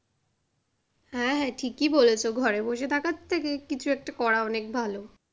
হ্যাঁ হ্যাঁ ঠিকই বলেছো ঘরে বসে থাকার থেকে কিছু একটা করে অনেক ভালো।